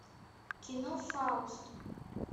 кино фауст